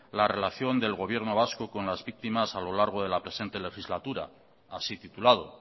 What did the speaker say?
la relación del gobierno vasco con las víctimas a lo largo de la presente legislatura así titulado